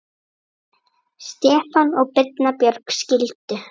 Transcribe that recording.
Stefán og Birna Björg skildu.